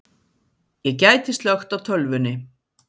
Ég gæti slökkt á tölvunni.